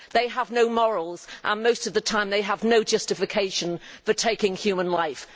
they have no morals, and most of the time they have no justification for taking human life.